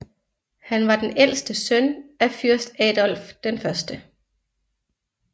Han var den ældste søn af Fyrst Adolf 1